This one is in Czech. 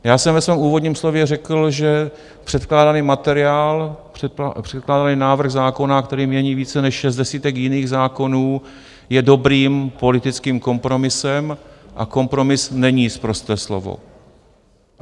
Já jsem ve svém úvodním slově řekl, že předkládaný materiál, předkládaný návrh zákona, který mění více než 60 jiných zákonů, je dobrým politickým kompromisem a kompromis není sprosté slovo.